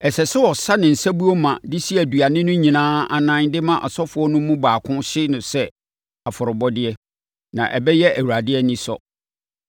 Ɛsɛ sɛ ɔsa ne nsabuo ma de si aduane no nyinaa anan de ma asɔfoɔ no mu baako hye sɛ afɔrebɔdeɛ, na ɛbɛyɛ Awurade anisɔ.